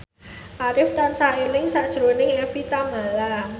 Arif tansah eling sakjroning Evie Tamala